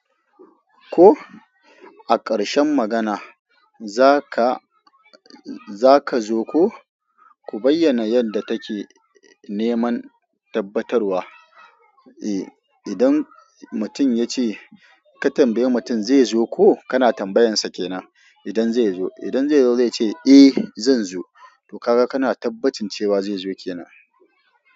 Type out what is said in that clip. Ko a ƙarshen magana za ka, za ka zo ko? Ku bayyana yadda take neman tabbatarwa. Eh idan mutum ya ce ka tambayi mutum zai zo ko, kana tambayansa ke nan idan zai zo. Idan zai zo zai ce eh zan zo, to ka ga kana tabbacin cewa zai zo ke nan.